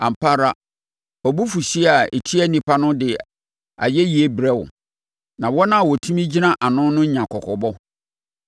Ampa ara wʼabufuhyeɛ a ɛtia nnipa no de ayɛyie brɛ wo, na wɔn a wɔtumi gyina ano no nya kɔkɔbɔ.